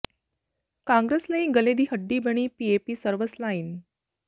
ਕਾਂਗਰਸ ਲਈ ਗਲ਼ੇ ਦੀ ਹੱਡੀ ਬਣੀ ਪੀਏਪੀ ਸਰਵਿਸ ਲਾਈਨ